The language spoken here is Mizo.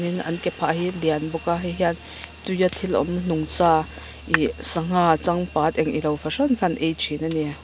tin an kephah hi a lian bawk a heihian tuia thil awm nungcha ihh sangha changpat eng ilo fahran kha an ei thin a ni.